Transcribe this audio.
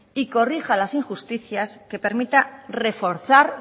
y corrija las injusticias que permita reforzar